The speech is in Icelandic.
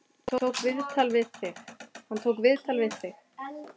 Hann tók viðtal við þig?